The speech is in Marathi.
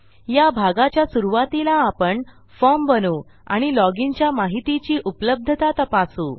या भागाच्या सुरूवातीला आपण फॉर्म बनवू आणि लॉजिन च्या माहितीची उपलब्धता तपासू